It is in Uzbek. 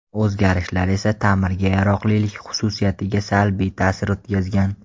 O‘zgarishlar esa ta’mirga yaroqlilik xususiyatiga salbiy ta’sir o‘tkazgan.